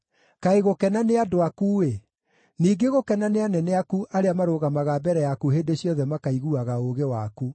Kaĩ gũkena nĩ andũ aku-ĩ! Ningĩ gũkena nĩ anene aku arĩa marũgamaga mbere yaku hĩndĩ ciothe makaiguaga ũũgĩ waku!